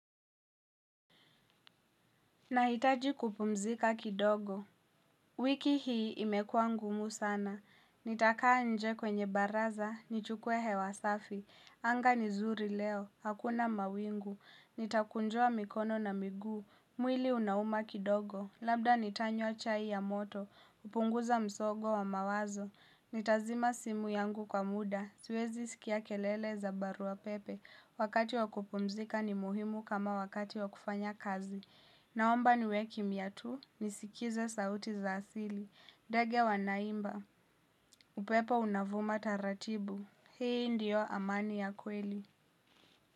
Nahitaji kupumzika kidogo, wiki hii imekuwa ngumu sana, nitakaa nje kwenye baraza, nichukue hewa safi, anga ni zuri leo, hakuna mawingu, nitakunjua mikono na miguu, mwili unauma kidogo, labda nitanywa chai ya moto, upunguza msogo wa mawazo, nitazima simu yangu kwa muda, siwezi skia kelele za baruwa pepe, wakati wa kupumzika ni muhimu kama wakati wa kufanya kazi. Naomba niwe kimya tu, nisikize sauti za asili. Ndege wanaimba, upepo unavuma taratibu. Hii ndiyo amani ya kweli.